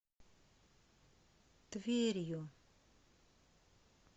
тверью